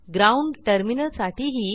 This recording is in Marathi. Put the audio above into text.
ग्राउंड टर्मिनल साठीही